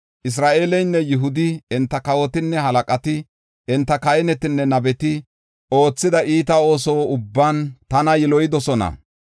Isra7eeleynne Yihudi, enta kawotinne halaqati, enta kahinetine nabeti oothida iita ooso ubban tana yiloyidosona.